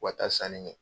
U ka taa sanni kɛ